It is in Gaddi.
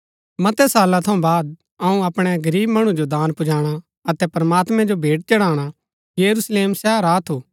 मतै साला थऊँ बाद अऊँ अपणै गरीब मणु जो दान पुजाणा अतै प्रमात्मैं जो भेंट चढ़ाणा यरूशलेम शहर आ थू